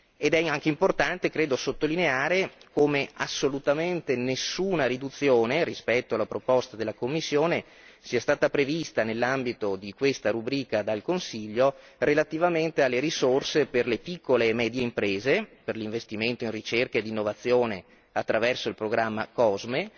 Ed è anche importante, credo, sottolineare come assolutamente nessuna riduzione rispetto alla proposta della Commissione sia stata prevista nell'ambito di questa rubrica dal Consiglio relativamente alle risorse per le piccole e medie imprese, per l'investimento in ricerca ed innovazione attraverso il programma COSME,